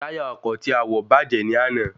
Táyà ọkọ̀ tí a wọ̀ bàjẹ́ ní àná